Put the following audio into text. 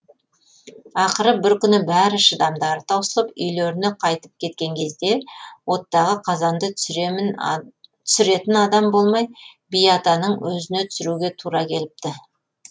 ақыры бір күні бәрі шыдамдары таусылып үйлеріне қайтып кеткен кезде оттағы қазанды түсіретін адам болмай би атаның өзіне түсіруге тура келіпті